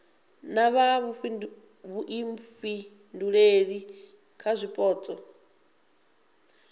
vha na vhuifhinduleli kha zwipotso